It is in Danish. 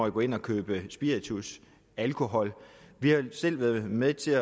at gå ind og købe spiritus alkohol vi har selv været med til